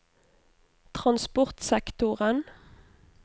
transportsektoren